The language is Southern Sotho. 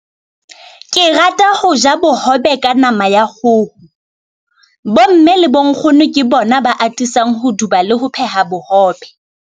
Ke rata ho ja bohobe ka nama ya khoho. Bo mme le bo nkgono ke bona ba atisang ho duba le ho pheha bohobe.